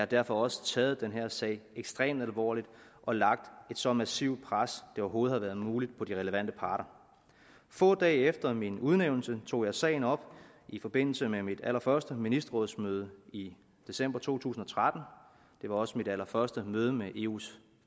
derfor også taget den her sag ekstremt alvorligt og lagt et så massivt pres det overhovedet har været muligt på de relevante parter få dage efter min udnævnelse tog jeg sagen op i forbindelse med mit allerførste ministerrådsmøde i december to tusind og tretten det var også mit allerførste møde med eus